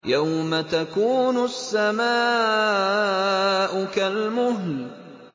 يَوْمَ تَكُونُ السَّمَاءُ كَالْمُهْلِ